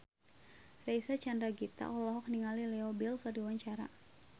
Reysa Chandragitta olohok ningali Leo Bill keur diwawancara